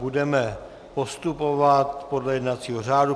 Budeme postupovat podle jednacího řádu.